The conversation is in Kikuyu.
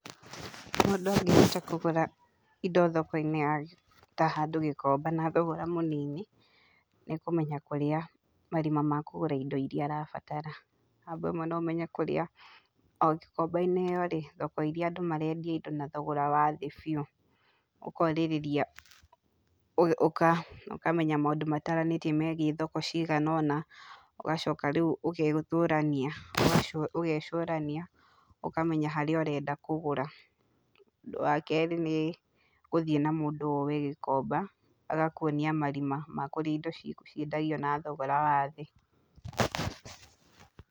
Mũndũ angĩhota kũgũra indo thoko-inĩ ta handũ Gĩkomba na thogora mũnini, nĩkũmenya kũrĩa marima ma kũgũra indo iria arabatara, na no ũmenye kũrĩa o Gĩkomba-inĩ ĩyo, thoko iria kũrĩa andũ marendia indo na thogora wa thĩ biũ. Ũkorĩrĩria, ukamenya maũndo mataranĩirio megiĩ thoko cigana ona, ũgacoka rĩũ ũgecũrania, ũkamenya harĩa ũrenda kũgũra. Wakerĩ nĩ, gũthiĩ na mũndũ ũĩ Gĩkomba, agakuonia marima ma kũrĩa indo ciendagio na thogora wa thĩ.